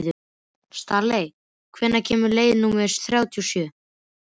Stanley, hvenær kemur leið númer þrjátíu og sjö?